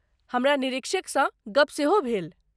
हमरा निरीक्षकसँ गप्प सेहो भेल।